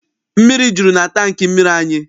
Mmiri juru na tankị mmiri anyị.